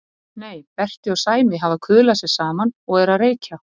Nei, Berti og Sæmi hafa kuðlað sér saman og eru að reykja.